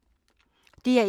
DR1